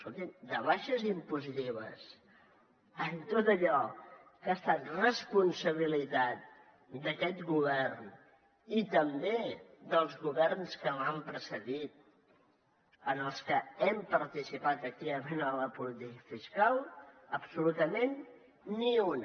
escolti’m de rebaixes impositives en tot allò que ha estat responsabilitat d’aquest govern i també dels governs que m’han precedit en els que hem participat activament en la política fiscal absolutament ni una